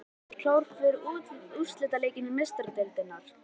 Láttu vaða- Ertu klár fyrir úrslitaleik Meistaradeildarinnar?